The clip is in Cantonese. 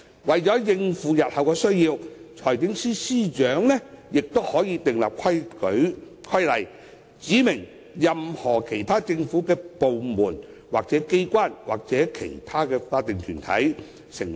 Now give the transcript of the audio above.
為應付日後需要，財政司司長可訂立規例，指明任何其他政府部門、機關或其他法定團體。